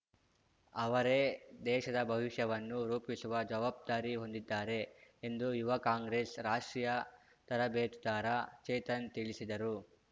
ಅವರೇ ದೇಶದ ಭವಿಷ್ಯವನ್ನು ರೂಪಿಸುವ ಜವಾಬ್ದಾರಿ ಹೊಂದಿದ್ದಾರೆ ಎಂದು ಯುವ ಕಾಂಗ್ರೆಸ್‌ ರಾಷ್ಟ್ರೀಯ ತರಬೇತುದಾರ ಚೇತನ್‌ ತಿಳಿಸಿದರು